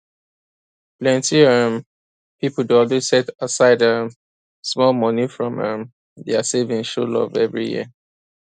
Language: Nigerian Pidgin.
plenty um pipo dey always set aside um small money from um dia savings show love every year